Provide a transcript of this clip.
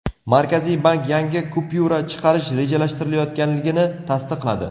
Markaziy bank yangi kupyura chiqarish rejalashtirilayotganligini tasdiqladi.